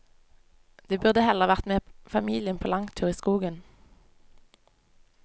De burde heller vært med familien på langtur i skogen.